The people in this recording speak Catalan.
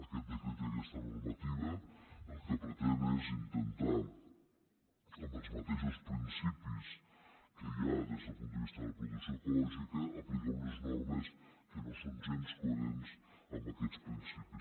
aquest decret i aquesta normativa el que pretenen és intentar amb els mateixos principis que hi ha des del punt de vista de la producció ecològica aplicar unes normes que no són gens coherents amb aquest principis